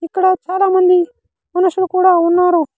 ఇక్కడ చాలామంది మనుషులు కూడా ఉన్నారు.